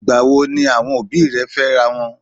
Ìgbà wo ni àwọn òbí rẹ̀ fẹ́rawọn?